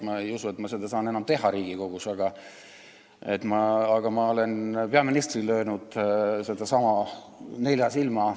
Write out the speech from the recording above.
Ma ei usu, et ma saan seda veel kord teha Riigikogus, aga ma olen peaministrile öelnud sedasama nelja silma all.